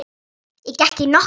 Ég gekk í nokkra hringi.